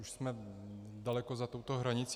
Už jsme daleko za touto hranicí.